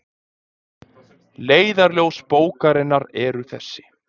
Leiðarljós bókarinnar eru þessi